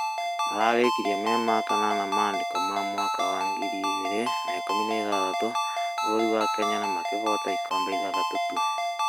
mararĩkĩrĩe marĩ a kanana mandĩko ma mwaka wa 2016 bũrũrĩ wa Kenya na makĩhota ĩkombe ithathatũ tũ